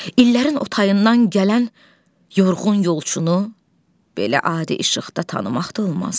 İllərin o tayından gələn yorğun yolçunu belə adi işıqda tanımaq da olmazdı.